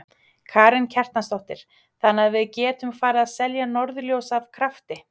Karen Kjartansdóttir: Þannig að við getum farið að selja norðurljós af krafti?